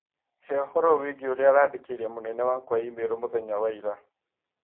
Hee ũhoro wĩigĩĩ ũrĩa arandĩkĩire mũnene wakwa i-mīrū mũthenya wa ira.